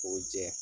K'o jɛ